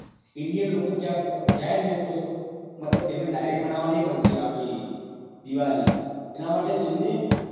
indian લોકો ત્યાં જાય તો મતલબ તેને direct મનાવવા નહિ મળતી આપડી દિવાળી એના માટે તેમને